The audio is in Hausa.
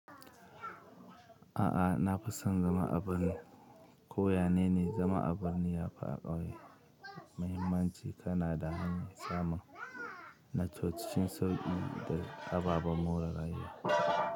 A'a, na fi son zama a birni. Ko yanene zama a birni ya fi a ƙauye muhimmanci, kana da hanyar samun na co cikin sauƙi da ababen more rayuwa.